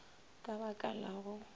ka ba ka la go